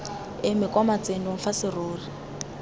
eme kwa matsenong fa serori